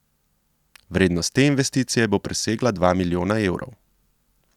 Vrednost te investicije bo presegla dva milijona evrov.